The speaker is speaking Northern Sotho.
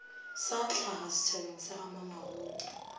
sa hlaga setšhabeng sa gamamabolo